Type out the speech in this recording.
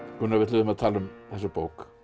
Gunnar við ætluðum að tala um þessa bók